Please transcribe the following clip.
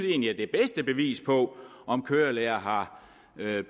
egentlig at det bedste bevis på om kørelærere har